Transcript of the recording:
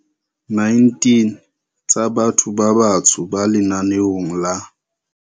19 tsa batho ba batsho ba lenaneong la.